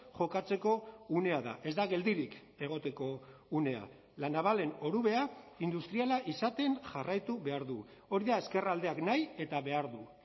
jokatzeko unea da ez da geldirik egoteko unea la navalen orubea industriala izaten jarraitu behar du hori da ezkerraldeak nahi eta behar du